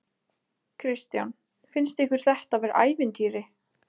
Kristján: Finnst ykkur þetta vera ævintýri?